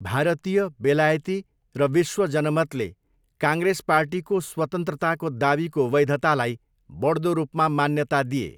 भारतीय, बेलायती र विश्व जनमतले काङ्ग्रेस पार्टीको स्वतन्त्रताको दावीको वैधतालाई बढ्दो रूपमा मान्यता दिए।